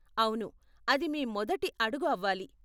అవును, అది మీ మొదటి అడుగు అవ్వాలి.